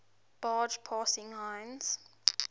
barge passing heinz